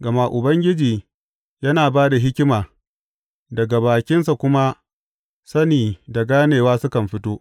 Gama Ubangiji yana ba da hikima, daga bakinsa kuma, sani da ganewa sukan fito.